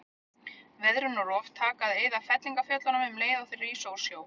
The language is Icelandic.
Veðrun og rof taka að eyða fellingafjöllunum um leið og þau rísa úr sjó.